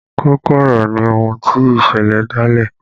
Kókó ọ̀rọ̀ ni ohun tí ìṣẹ̀lẹ̀ dá lé